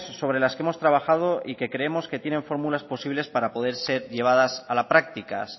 sobre las que hemos trabajado y que creemos que tienen fórmulas posibles para poder ser llevadas a las prácticas